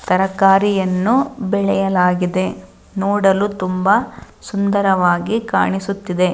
ತರಕಾರಿ ಬೆಳೆಯಲಾಗಿದೆ ನೋಡಲು ಸುಂದರವಾಗಿ ಕಾಣಿಸುತ್ತಿದೆ